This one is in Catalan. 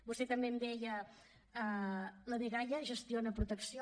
vostè també em deia la dgaia gestiona protecció